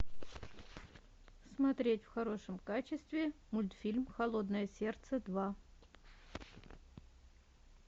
смотреть в хорошем качестве мультфильм холодное сердце два